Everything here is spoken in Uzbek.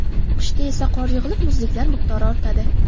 Qishda esa qor yig‘ilib, muzliklar miqdori ortadi.